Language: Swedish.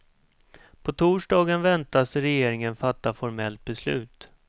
På torsdagen väntas regeringen fatta formellt beslut.